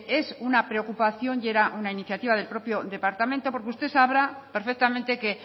es una preocupación y era una iniciativa del propio departamento porque usted sabrá perfectamente que